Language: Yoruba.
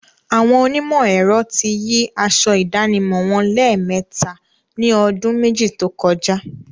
Àwọn onímọ̀ ẹ̀rọ ti yí aṣọ ìdánimọ̀ wọn lẹ́mẹ̀ẹta ni ọdún méjì tókọjá.